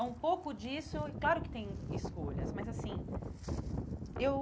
É um pouco disso, e claro que tem escolhas, mas assim, eu...